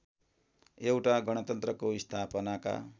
एउटा गणतन्त्रको स्थापनाका